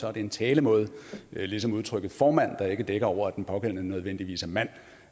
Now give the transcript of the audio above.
er det en talemåde ligesom udtrykket formand ikke dækker over at den pågældende nødvendigvis er mand